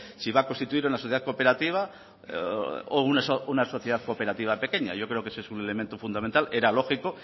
si va a constituir una sociedad cooperativa o una sociedad cooperativa pequeña yo creo que ese es un elemento fundamental era lógico